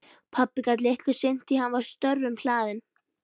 Pabbi gat litlu sinnt því að hann var störfum hlaðinn.